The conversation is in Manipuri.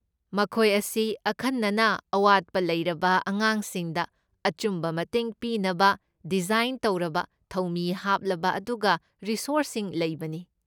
ꯃꯈꯣꯏ ꯑꯁꯤ ꯑꯈꯟꯅꯅ ꯑꯋꯥꯠꯄ ꯂꯩꯔꯕ ꯑꯉꯥꯡꯁꯤꯡꯗ ꯑꯆꯨꯝꯕ ꯃꯇꯦꯡ ꯄꯤꯅꯕ ꯗꯤꯖꯥꯏꯟ ꯇꯧꯔꯕ, ꯊꯧꯃꯤ ꯍꯥꯞꯂꯕ ꯑꯗꯨꯒ ꯔꯤꯁꯣꯔꯁꯤꯡ ꯂꯩꯕꯅꯤ꯫